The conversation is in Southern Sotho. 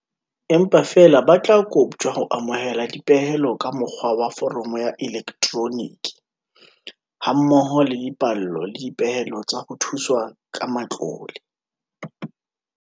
Empa feela ba tla koptjwa ho amohela dipehelo ka mo kgwa wa foromo ya elektroniki, ha mmoho le dipallo le dipehelo tsa ho thuswa ka matlole.